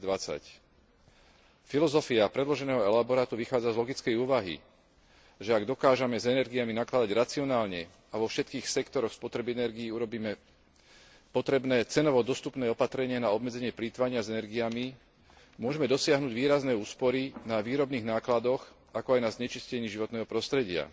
2020. Filozofia predloženého elaborátu vychádza z logickej úvahy, že ak dokážeme s energiami nakladať racionálne a vo všetkých sektoroch spotreby energie urobíme potrebné cenovo dostupné opatrenia na obmedzenie plytvania s energiami, môžeme dosiahnuť výrazné úspory na výrobných nákladoch, ako aj na znečistení životného prostredia.